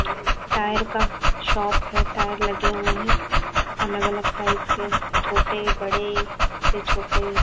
tyre का shop है tyre लगे हुए हैं अलग अलग टाइप के छोटे बड़े फिर छोटे--